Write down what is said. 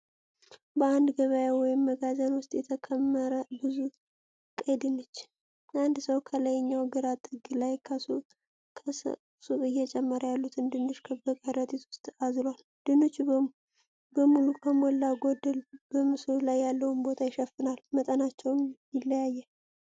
በአንድ ገበያ ወይም መጋዘን ውስጥ የተከመረ ብዙ ቀይ ድንች። አንድ ሰው ከላይኛው ግራ ጥግ ላይ ከሰቅ እየጨመሩ ያሉትን ድንች በከረጢት ውስጥ አዝሏል። ድንቹ በሙሉ ከሞላ ጎደል በምስሉ ላይ ያለውን ቦታ ይሸፍናል፣ መጠናቸውም ይለያያል።